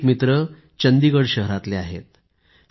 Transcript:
एक मित्र चंदीगड शहरातलेआहेत